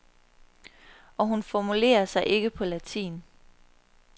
Og hun formulerer sig ikke på latin.